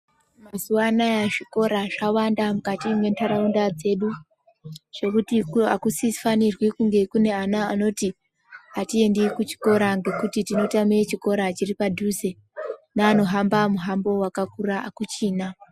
Mazuwa anaya zvikora zvawanda mukati mentaraunda dzedu, zvekuti hakusifanirwi kunge kune ana anoti, hatiende kuchikora ngekuti tinotame chikora chiri padhuze. Neanohamba muhambo wakakura hakuchina.